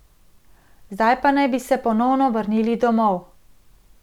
Zdaj pa naj bi se ponovno vrnil domov.